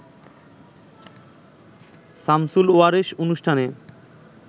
সামসুল ওয়ারেস অনুষ্ঠানে